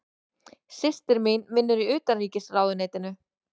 Systir mín vinnur í Utanríkisráðuneytinu.